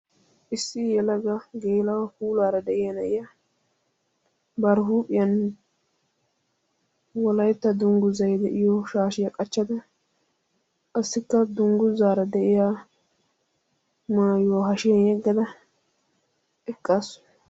Issi yelaga geela'o puulaara de'iya na'iya bari huuphiyan wolaytta dungguzay de'iyo shaashiya qachchada qassikka dungguzaara de'iya maayuwa hashiyan yeggada eqqaasu.